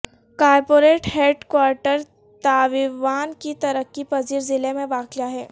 corporate headquarter Taoyuan کے ترقی پذیر ضلع میں واقع ہے